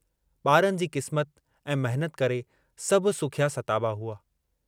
बारनि जी किस्मत ऐं महिनत करे सभु सुखिया सताबा हुआ।